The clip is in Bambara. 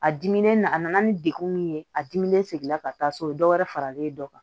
A dimi n'a a nana ni degun min ye a dimi sigila ka taa so o bɛ dɔ wɛrɛ fara len dɔ kan